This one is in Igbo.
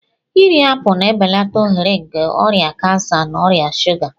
Iri apụl na-ebelata ohere nke ọrịa kansa na ọrịa shuga.